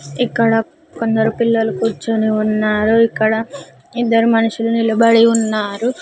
ఇక్కడ కొందరు పిల్లలు కూర్చుని ఉన్నారు ఇక్కడ ఇద్దరు మనుషులు నిలబడి ఉన్నారు.